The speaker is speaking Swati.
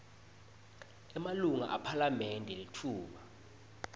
emalunga ephalamende litfuba